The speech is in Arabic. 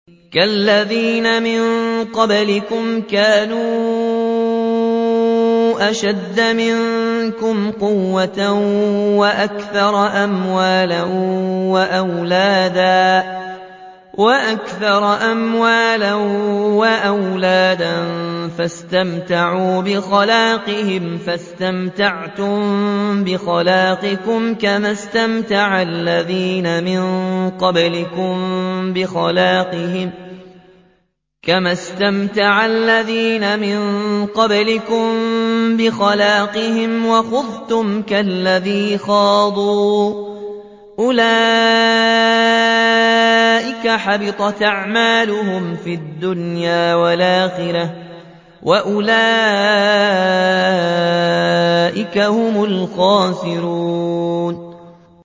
كَالَّذِينَ مِن قَبْلِكُمْ كَانُوا أَشَدَّ مِنكُمْ قُوَّةً وَأَكْثَرَ أَمْوَالًا وَأَوْلَادًا فَاسْتَمْتَعُوا بِخَلَاقِهِمْ فَاسْتَمْتَعْتُم بِخَلَاقِكُمْ كَمَا اسْتَمْتَعَ الَّذِينَ مِن قَبْلِكُم بِخَلَاقِهِمْ وَخُضْتُمْ كَالَّذِي خَاضُوا ۚ أُولَٰئِكَ حَبِطَتْ أَعْمَالُهُمْ فِي الدُّنْيَا وَالْآخِرَةِ ۖ وَأُولَٰئِكَ هُمُ الْخَاسِرُونَ